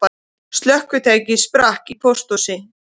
Slökkvitæki sprakk í pósthúsi